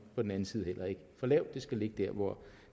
på den anden side heller ikke for lavt det skal ligge dér hvor